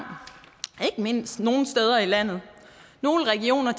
nogle steder i landet nogle regioner er